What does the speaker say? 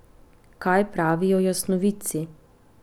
Kaj pravijo jasnovidci?